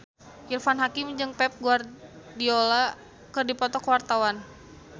Irfan Hakim jeung Pep Guardiola keur dipoto ku wartawan